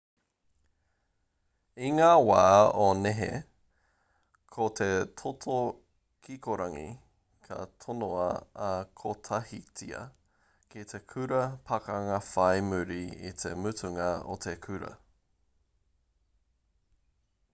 i ngā wā o nehe ko te toto kikorangi ka tonoa kotahitia ki te kura pakanga whai muri i te mutunga o te kura